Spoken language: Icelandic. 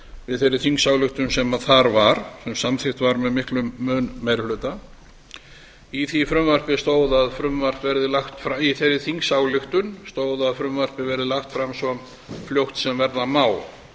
við þeirri þingsályktun sem þar var sem samþykkt var með miklum meiri hluta í þeirri þingsályktun stóð að frumvarpið verði lagt fram svo fljótt sem verða má